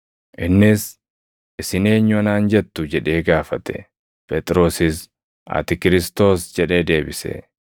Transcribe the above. Innis, “Isin eenyu anaan jettu?” jedhee gaafate. Phexrosis, “Ati Kiristoos” jedhee deebise.